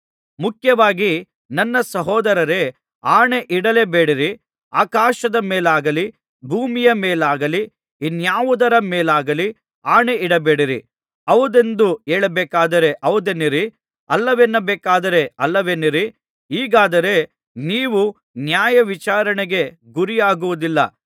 ಮುಖ್ಯವಾಗಿ ನನ್ನ ಸಹೋದರರೇ ಆಣೆಯಿಡಲೇ ಬೇಡಿರಿ ಆಕಾಶದ ಮೇಲಾಗಲಿ ಭೂಮಿಯ ಮೇಲಾಗಲಿ ಇನ್ಯಾವುದರ ಮೇಲಾಗಲಿ ಆಣೆಯಿಡಬೇಡಿರಿ ಹೌದೆಂದು ಹೇಳಬೇಕಾದರೆ ಹೌದೆನ್ನಿರಿ ಅಲ್ಲವೆನ್ನಬೇಕಾದರೆ ಅಲ್ಲವೆನ್ನಿರಿ ಹೀಗಾದರೆ ನೀವು ನ್ಯಾಯವಿಚಾರಣೆಗೆ ಗುರಿಯಾಗುವುದಿಲ್ಲ